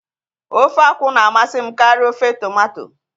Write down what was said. Ofe akwụ na-amasị m karịa ofe tomato